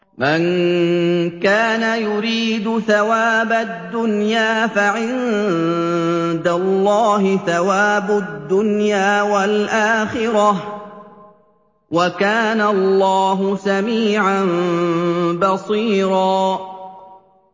مَّن كَانَ يُرِيدُ ثَوَابَ الدُّنْيَا فَعِندَ اللَّهِ ثَوَابُ الدُّنْيَا وَالْآخِرَةِ ۚ وَكَانَ اللَّهُ سَمِيعًا بَصِيرًا